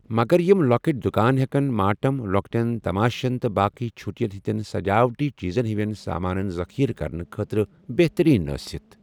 مگر یِم لۄکٕٹۍ دُکان ہیٚکن ماٹم، لۄکٹین تماشن، تہٕ باقٕے چُھٹین ہِنٛدین سجاوٹی چیٖزن ہِوین سامانن ذخیٖرٕ کرنہ خٲطرٕ بہترین ٲسِتھ ۔